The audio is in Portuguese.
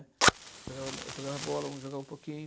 né. Eu jogava bo, eu jogava bola, eu jogava um pouquinho...